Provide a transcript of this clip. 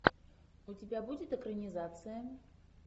у тебя будет экранизация